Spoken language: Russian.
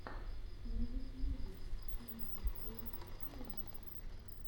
на ютюбе пи ди кей филмс